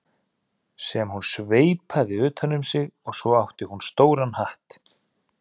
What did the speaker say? sem hún sveipaði utan um sig og svo átti hún stóran hatt.